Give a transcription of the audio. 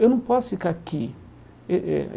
Eu não posso ficar aqui. Eh eh